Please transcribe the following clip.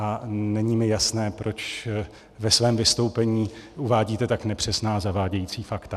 A není mi jasné, proč ve svém vystoupení uvádíte tak nepřesná, zavádějící fakta.